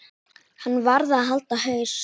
Hann varð að halda haus.